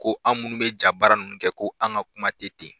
Ko an minnu bɛ ja baara ninnu kɛ ko anw ka kuma tɛ ten.